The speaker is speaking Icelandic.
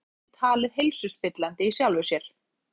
Þetta er óþægilegt en ekki talið heilsuspillandi í sjálfu sér.